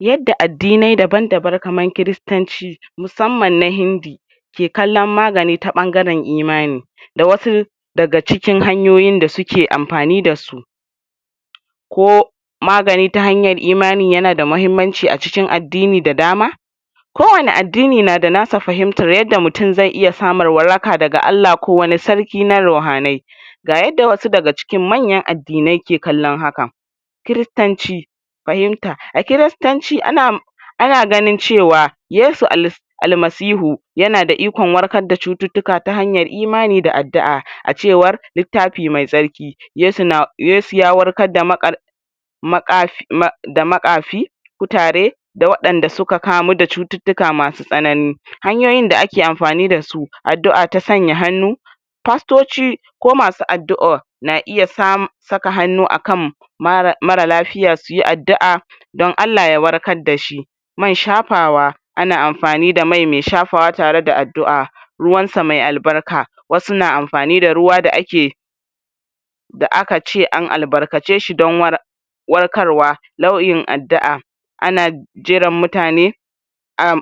Yadda addini daban-daban kamar kiristanci musamman na hindi ke kalan magani ta ɓangaren imani da wasu daga cikin hanyoyin da suke amfani da su ko magani ta hanyar imani yana da muhimmanci acikin addini da dama ko wanni addini nada nasa fahimtar yadda mutum ze iya samun waraka daga Allah ko wani sarki na ruhanai ga yadda wasu daga cikin manyan addinai ke kallon haka kiristanci fahimta, a kiristanci ana ana ganin cewa yesu al'masihu yana da ikon warkar da cuttutuka ta hanyar imani da addu'a a cewar litaffi mai tsarki, yesu na yesu ya warkar da maƙafi da maƙafi kutare da wadanda suka kamu da cuttutuka masu tsanani, hanyoyin da ake amfani da su addu'a ta sanya hannu fastoci ko masu addu'a na iya sa, saka hannu akam mara mara lafiya suyi addu'a dan Allah ya warkar da shi man shafaww ana amfani da mai me shafawa tare da addu'a ruwansa mai albarka wasu na amfani da ruwa da ake da akace an albarkace shi dan warkarwa nau'in addu'a ana jiran mutane uhm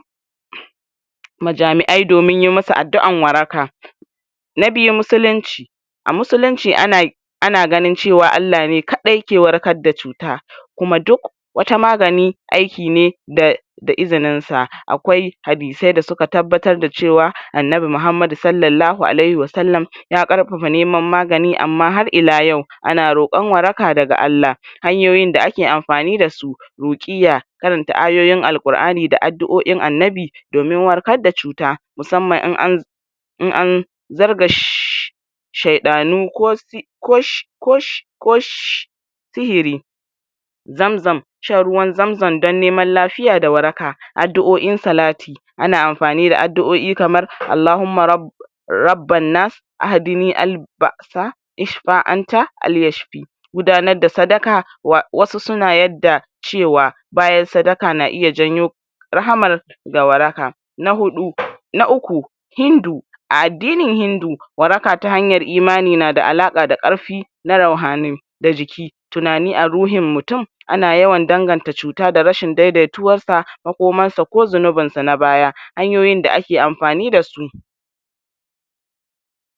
wajamian domin yi masa addu'an waraka na biyu musulinci a musulinci ana ana ganin cewa Aallah ne kadai ke warkar da cuta kuma duk wata magani aiki ne da da izinin sa akwai hadisai da suka tabbatar da cewa Annabi Muhammad salalahu alayhim wa salam ya karfafa neman magani amma har ila yau ana rokan waraka daga Allah hanyoyin da ake amfani da su rukiya irin ta ayyoyin Al'qurani da addu'oin Annabi domin warkar da cuta musamman in an in an zarga sheɗanu ko sihiri zamzam shan ruwan zamzam dan neman lafiya da waraka, addu'oin salati ana amfani da addu'oi kamar Allahuma rabba rabbannas ahdini alil ba'asa ishfa anta al'yashfi gudanar da sadaka wasu suna ya da cewa bayan sadaka na iya janyo rahama da waraka na huɗu na uku hindu a addinin hindu, waraka ta hanyar imani na da alaka da karfi na rauhanai da jiki tunani a ruhin mutum ana yawan danganta cuta da rashin daidaituwansa ,makomansa ko zunubinsa na baya, hanyoyin da ake amfani da su.